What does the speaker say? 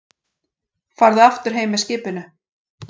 Farðu aftur heim með skipinu!